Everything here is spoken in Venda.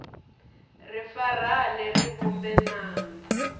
ri farane ri vhumbe ṅanda